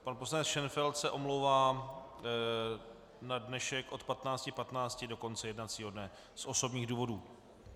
Pan poslanec Šenfeld se omlouvá na dnešek od 15.15 do konce jednacího dne z osobních důvodů.